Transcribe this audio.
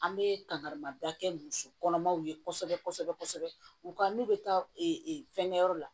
An bɛ kangari ma da kɛ musokɔnɔmaw ye kosɛbɛ kosɛbɛ u ka n'u bɛ taa fɛnkɛyɔrɔ la